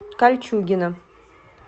кольчугино